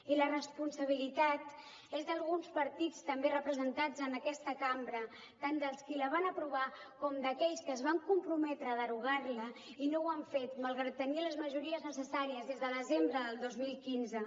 i la responsabilitat és d’alguns partits també representats en aquesta cambra tant dels qui la van aprovar com d’aquells que es van comprometre a derogar la i no ho han fet malgrat tenir les majories necessàries des de desembre del dos mil quinze